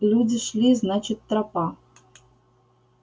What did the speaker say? люди шли значит тропа